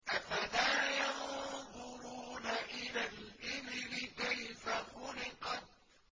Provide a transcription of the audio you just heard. أَفَلَا يَنظُرُونَ إِلَى الْإِبِلِ كَيْفَ خُلِقَتْ